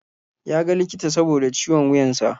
Ya ga likita saboda ciwon wuyan sa.